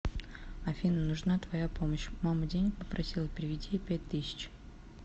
афина нужна твоя помощь мама денег попросила переведи ей пять тысяч